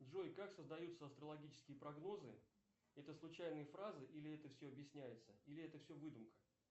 джой как создаются астрологические прогнозы это случайные фразы или это все объясняется или это все выдумка